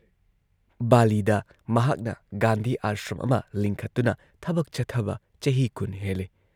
ꯕꯥꯂꯤꯗ ꯃꯍꯥꯛꯅ ꯒꯥꯟꯙꯤ ꯑꯥꯁ꯭ꯔꯝ ꯑꯃ ꯂꯤꯡꯈꯠꯇꯨꯅ ꯊꯕꯛ ꯆꯠꯊꯕ ꯆꯍꯤ ꯀꯨꯟ ꯍꯦꯜꯂꯦ ꯫